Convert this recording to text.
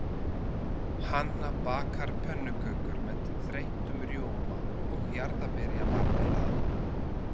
Hanna bakar pönnukökur með þeyttum rjóma og jarðarberjamarmelaði.